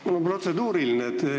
Mul on protseduuriline küsimus.